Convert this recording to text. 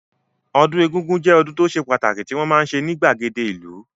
Ọdún egúngún jẹ́ ọdún tó ṣe pàtàkì tí wọ́n máa ń ṣe ní ìgbàgede ìlú